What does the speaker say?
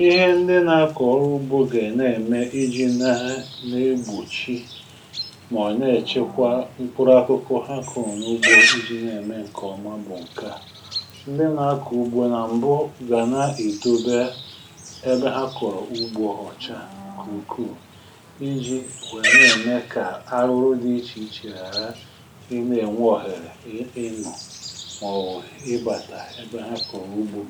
ihe ndị na-akọ̀rọ ugbo gà-ème iji̇ na na-egbùchi mà nà-èchekwa mkpụrụ akụkọ ha kọ̀rọ̀ n’ugbo iji̇ na-ème ǹkèọma bụ̀ ǹke à um ndị nà-akọ̀ ugbo nà m̀bụ gà na-èdobe ebe ha kọ̀rọ̀ ugbo òcha ǹkè ukwuù iji̇ nwèe na-ème kà arụrụ dị ichè ichè ghàra ị na-ènwe òhèrè ịnụ̇ màọ̀wụ̀ ịbàtà ebe ha kọ̀rọ̀ ugbo